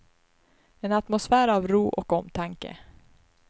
En atmosfär av ro och omtanke.